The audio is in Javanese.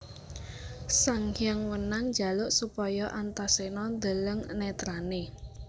Sanghyang Wenang njaluk supaya Antaséna ndeleng netrané